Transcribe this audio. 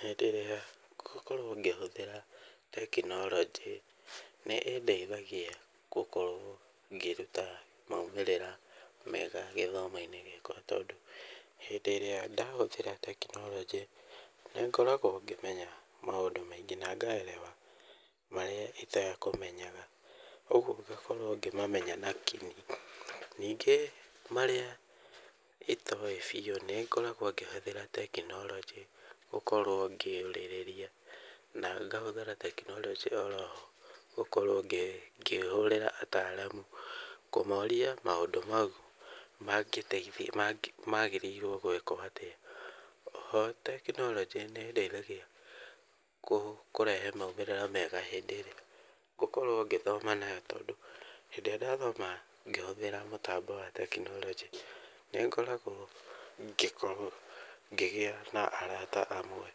Hĩndĩ ĩrĩa ngũkorwo ngĩhũthĩra tekinoronjĩ, nĩ ĩndeithagia gũkorwo ngĩruta maumirĩra mega gĩthomo-inĩ gĩakwa tondũ, hĩndĩ ĩrĩa ndahũthĩra tekinoronjĩ, nĩngoragwo ngĩmenya maũndũ maingĩ na ngaerewa marĩa itekũmenyaga. Koguo ngakorwo ngĩmamenya na king'i. Ningĩ marĩa itoĩ biũ, nĩngoragwo ngĩhũthĩra tekironjĩ gũkorwo ngĩũrĩrĩria. Na ngahũthĩra tekinoronjĩ oroyo gũkorwo ngĩhũrĩra ataramu kũmoria maũndũ mau mangĩteithia, magĩrĩirwo gũĩkwo atĩa. Ho tekinoronjĩ nĩ ĩndeithagia kũrehe maumĩrĩra mega hĩndĩ ĩrĩa ngũkorwo ngĩthoma nayo, tondũ, hĩndĩ ĩrĩa ndathoma ngĩhetũkĩra tekinoronjĩ, nĩ ngoragwo ngĩgia na arata amwe